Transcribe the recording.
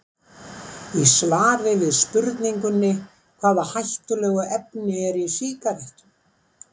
Í svari við spurningunni Hvaða hættulegu efni eru í sígarettum?